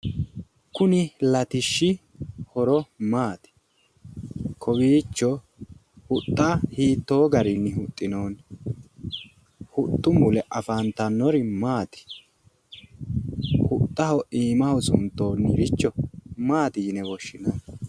kuni latishshi horo maati kowiicho huxxa hiittoo garinni huxxinoonni huxxu mule afantanori maati huxxu iimaho suntoonnirichi maati yine woshshinanni